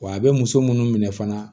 Wa a bɛ muso minnu minɛ fana